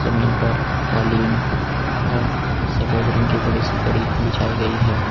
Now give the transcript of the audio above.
जमीन पर कालीन और सफेद रंग की बड़ी सी दरी बिछाई गई है।